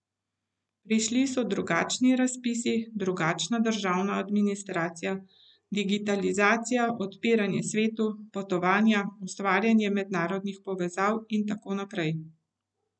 Prišli so drugačni razpisi, drugačna državna administracija, digitalizacija, odpiranje svetu, potovanja, ustvarjanje mednarodnih povezav in tako naprej.